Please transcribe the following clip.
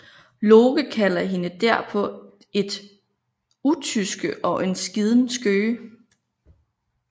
Loke kalder hende derpå et utyske og en skiden skøge